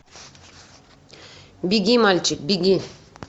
беги мальчик беги